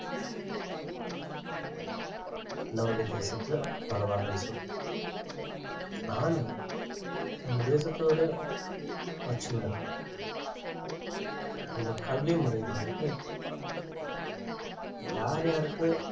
நம்முடைய தேசத்துல பரவாயில்லைன்னு சொல்~ ஆனா நம்ம தேசத்தோட பிரச்சனை இருக்கு இந்த கல்வி முறை வந்துட்டு யார் யாருக்கு